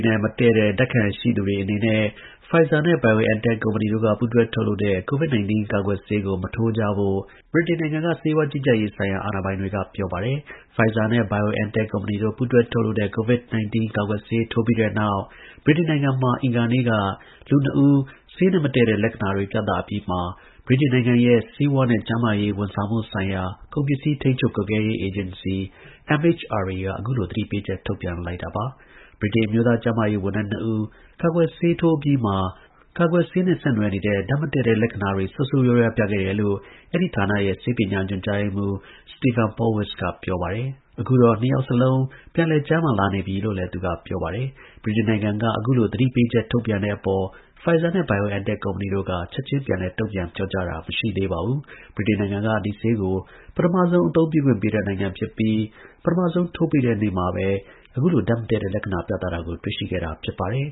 နဲ့ မတည့်တဲ့ ဓါတ်ခံရှိသူတွေအနေနဲ့ Pfizer နဲ့ BioNTech ကုမ္ပဏီတို့ ပူးတွဲ ထုတ်လုပ်တဲ့ COVID 19 ကာကွယ်ဆေးကို မထိုးကြဖို့ဗြိတိန်နိုင်ငံက ဆေးဝါးကြီးကြပ်ရေးဆိုင်ရာ အာဏာပိုင်တွေက ပြောပါတယ်။ Pfizer နဲ့ BioNTech ကုမ္ပဏီတို့ ပူးတွဲ ထုတ်လုပ်တဲ့ COVID 19 ကာကွယ်ဆေးထိုးပြီးတဲ့နောက် ဗြိတိန်နိုင်ငံမှာ အင်္ဂါနေ့က လူနှစ်ဦး ဆေးနဲ့မတည့်တဲ့ လက္ခဏာတွေ ပြသအပြီးမှာ ဗြိတိန်နိုင်ငံရဲ့ ဆေးဝါးနဲ့ ကျန်းမာရေး ဝန်ဆောင်မှု ကုန်ပစ္စည်း ထိန်းချုပ် ကွပ်ကဲ ရေး အေဂျင်စီ (MHRA) က အခုလို သတိပေးချက် ထုတ်ပြန်လိုက်တာပါ။ ဗြိတိန် အမျိုးသား ကျန်းမာရေး ဝန်ထမ်း နှစ်ဦး ကာကွယ်ဆေး ထိုးအပြီးမှာ ကာကွယ်ဆေးနဲ့ ဆက်နွယ်နေတဲ့ ဓါတ်မတည့်တဲ့ လက္ခဏာတွေ ဆိုးဆိုးရွားရွား ပြခဲ့ တယ်လို့ အဲဒီ ဌာနရဲ့ ဆေးပညာ ညွှန်ကြားရေးမှူး Stephen Powis က ပြောပါတယ်။ အခုတော့ နှစ်ယောက်စလုံး ပြန်လည် ကျန်းမာလာပြီလို့လည်း သူက ပြောပါတယ်။ ဗြိတိန်နိုင်ငံက အခုလို သတိပေးချက် ထုတ်ပြန်တဲ့အပေါ် Pfizer နဲ့ BioNTech ကုမ္ပဏီတို့က ချက်ချင်း ပြန်လည် တုန့်ပြန် ပြောကြား တာ မရှိသေးပါဘူး။ ဗြိတိန်နိုင်ငံက ဒီဆေးကို ပထမအသုံးပြုခွင့်ပေးတဲ့နိုင်ငံ ဖြစ်ပြီး ပထမဆုံး ထိုးပေးတဲ့နေ့မှာ အခုလို ဓါတ်မတည့်တဲ့ လက္ခဏာ ပြသတာကို တွေ့ရှိခဲ့တာ ဖြစ်ပါတယ်